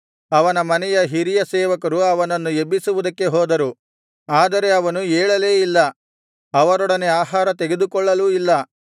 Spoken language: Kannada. ಅವನ ಮನೆಯ ಹಿರಿಯ ಸೇವಕರು ಅವನನ್ನು ಎಬ್ಬಿಸುವುದಕ್ಕೆ ಹೋದರು ಆದರೆ ಅವನು ಏಳಲೇ ಇಲ್ಲ ಅವರೊಡನೆ ಆಹಾರ ತೆಗೆದುಕೊಳ್ಳಲೂ ಇಲ್ಲ